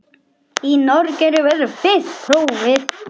Í Noregi verður fyrsta prófið.